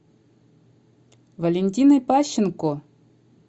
валентиной пащенко